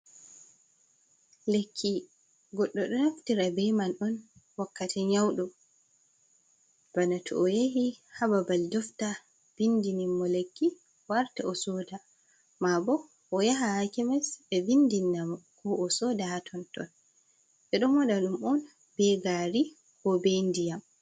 Lekki, goɗɗo ɗo naftira be man on wakkati nyaɗo, bana to o yahi hababal dofta vindini mo lekki o warta o soda. Ma bo o yaha ha kemes ɓe vindina mo, ko o soda ha tonton ɓe ɗo muɗa ɗum on be gari ko be ndiyam.